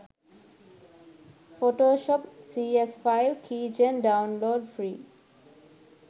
photoshop cs5 keygen download free